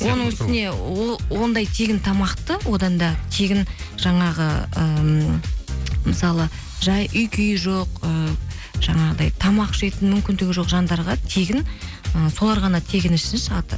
оның үстіне ондай тегін тамақты одан да тегін жаңағы ыыы мысалы жай үй күйі жоқ ы жаңағыдай тамақ жейтін мүмкіндігі жоқ жандарға тегін і солар ғана тегін ішсінші